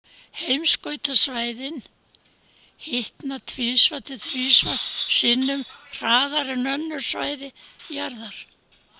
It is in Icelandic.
Heimskautasvæðin hitna tvisvar til þrisvar sinnum hraðar en önnur svæði jarðar.